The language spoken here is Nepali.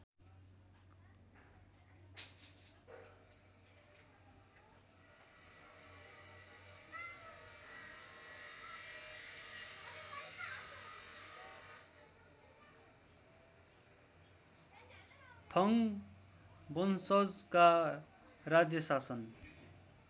थङ वंशजका राज्यशासन